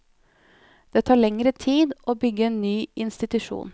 Det tar lengre tid å bygge en ny institusjon.